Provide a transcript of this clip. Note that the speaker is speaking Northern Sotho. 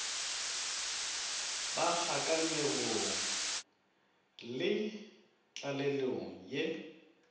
ba kgakanegong le tlalelong ye